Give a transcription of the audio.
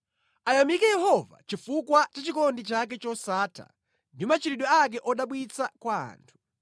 Ayamike Yehova chifukwa cha chikondi chake chosatha ndi machitidwe ake odabwitsa kwa anthu.